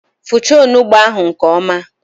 Fọchaa onugbụ ahụ nke ọma!